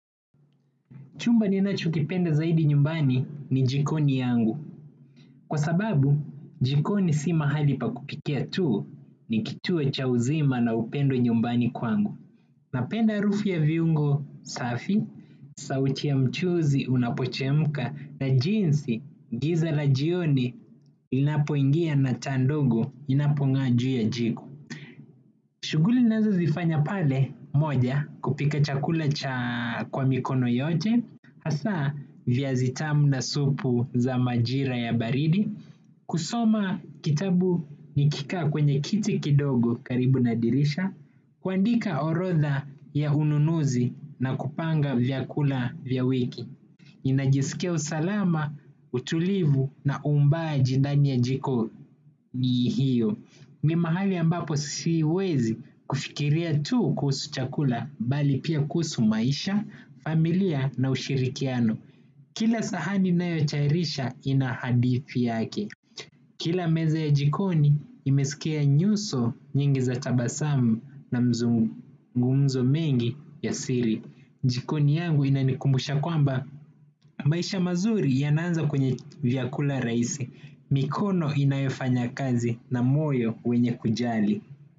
Chumba ninachokipenda zaidi nyumbani, ni jikoni yangu. Kwa sababu, jikoni si mahali pa kupikia tuu ni kituo cha uzima na upendo nyumbani kwangu. Napenda harufu ya viungo safi, sauti ya mchuzi unapochemka, na jinsi giza la jioni inapoingia na taa ndogo inapong'aa juu ya jiko. Shuguli ninazozifanya pale, moja kupika chakula cha kwa mikono yote, hasa viazi tamu na supu za majira ya baridi. Kusoma kitabu nikikaa kwenye kiti kidogo karibu nadirisha kuandika orotha ya ununuzi na kupanga vya kula vya wiki. Najisika usalama, utulivu na uumbaji ndani ya jiko ni hiyo. Ni mahali ambapo siwezi kufikiria tu kuhusu chakula, bali pia kuhusu maisha, familia na ushirikiano. Kila sahani ninayotayarisha, ina hadithi yake. Kila meza ya jikoni, imesikia nyuso nyingi za tabasamu na mazungumzo mengi ya siri. Jikoni yangu inanikumbusha kwamba, maisha mazuri yanaanza kwenye vyakula raisi. Mikono inayofanya kazi na moyo wenye kujali.